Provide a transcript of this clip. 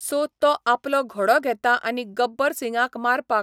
so तो आपलो घोडो घेता आनी गब्बर सिंगाक मारपाक